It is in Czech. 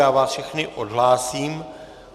Já vás všechny odhlásím.